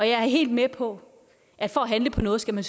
jeg er helt med på at for at handle på noget skal man